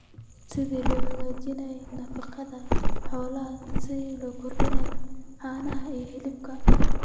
Sida loo hagaajiyo nafaqada xoolaha si loo kordhiyo caanaha iyo hilibka.